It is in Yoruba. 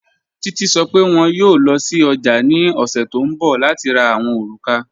Títi sọ́ pé wọn yóò lọ sí ọ̀jà ni ọ̀ṣẹ̀ tó nbọ̀ láti rá àwọn orúkà